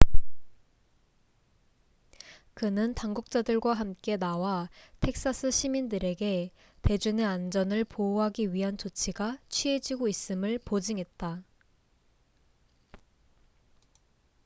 그는 당국자들과 함께 나와 텍사스 시민들에게 대중의 안전을 보호하기 위한 조치가 취해지고 있음을 보증했다